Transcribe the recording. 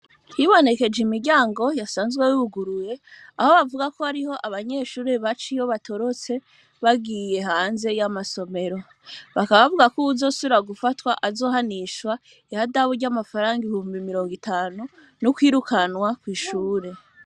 Yibonekeje imiryango yasanzwe wuguruye aho bavuga ko ariho abanyeshuri baca iyo batorotse bagiye hanze y'amasomero bakabavuga ko uwuzosura gufatwa azohanishwa ihadaburyo amafaranga ihumba mirongo itanu n'ukwirukanwa kw'ishure.